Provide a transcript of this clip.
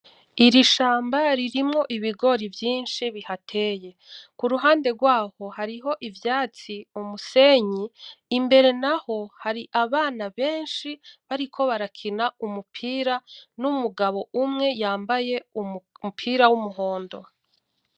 Irishamba ririmwo ibigori vyinshi bihateye. Kuruhande gwaho hariho ivyatsi, umusenyi imbere naho hari abana benshi bariko barakina umupira n’umugabo umwe yambaye umupira w’umuhondo.